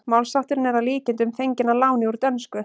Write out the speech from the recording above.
Málshátturinn er að líkindum fenginn að láni úr dönsku.